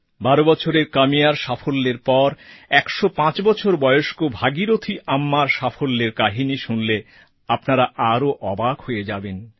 ১২ বছরের কাম্যার সাফল্যের পর ১০৫ বছর বয়স্ক ভাগীরথী আম্মার সাফল্যের কাহিনি শুনলে তো আরও অবাক হয়ে যাবেন